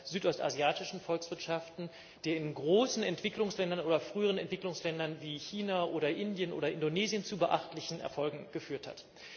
südostasiatischen Volkswirtschaften, in großen Entwicklungsländern oder früheren Entwicklungsländern, wie China oder Indien oder Indonesien, zu beachtlichen Erfolgen geführt hat.